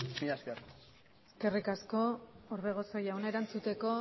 mila esker eskerrik asko orbegozo jauna erantzuteko